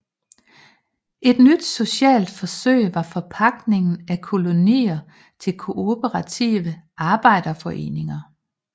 Et nyt socialt forsøg var forpagtningen af kolonier til kooperative arbejderforeninger